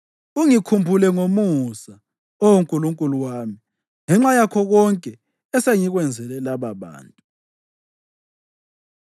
Ungikhumbule ngomusa, Oh Nkulunkulu wami, ngenxa yakho konke esengikwenzele lababantu.